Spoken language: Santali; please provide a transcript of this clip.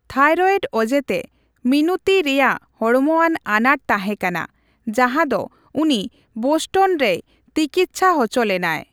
ᱛᱷᱟᱭᱨᱚᱭᱮᱰ ᱚᱡᱮᱛᱮ ᱢᱤᱱᱩᱛᱤ ᱨᱮᱭᱟᱜ ᱦᱚᱲᱢᱚᱣᱟᱱ ᱟᱱᱟᱴ ᱛᱟᱦᱮᱸᱠᱟᱱᱟ, ᱡᱟᱦᱟᱫᱚ ᱩᱱᱤ ᱵᱳᱥᱴᱚᱱ ᱨᱮᱭ ᱛᱤᱠᱤᱪᱽᱪᱷᱟ ᱦᱚᱪᱚ ᱞᱮᱱᱟᱭ ᱾